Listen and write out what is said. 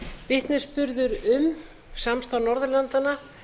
vitnisburður um samstarf norðurlandanna